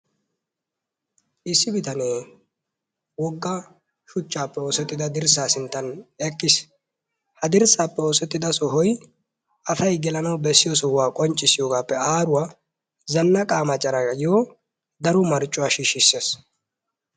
Issibitanee woga shuchchaappe oosettida dirsaa sintan eqqis, ha dirsaappe oosettida sohoy asay gelanawu, bessiyogaappe aaruwa zanaqaa macaraa qonccissees.